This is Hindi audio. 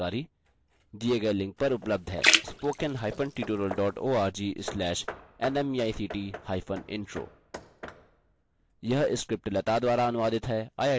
इस mission पर अधिक जानकारी दिए गए लिंक पर उपलब्ध है